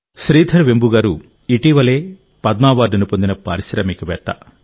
శ్రీధర్ వెంబు గారు ఇటీవలే పద్మ అవార్డును పారిశ్రామికవేత్త